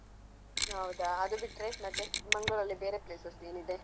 ಹೌದಾ ಅದು ಬಿಟ್ರೆ ಮತ್ತೆ ಮಂಗ್ಳೂರಲ್ಲಿ ಬೇರೆ places ಏನಿದೆ?